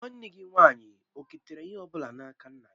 Nwanne gị nwaanyị oketara ihe ọ bụla n'aka nna gị?